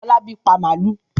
Fọlábí pa màlúù?